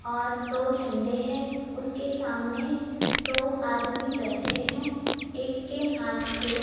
और दो झंडे है उसके सामने दो आदमी बैठे हैं एक के हाथ पे--